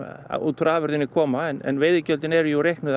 út úr afurðinni koma en veiðigjöldin eru jú reiknuð